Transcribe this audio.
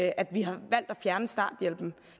at vi har valgt at fjerne starthjælpen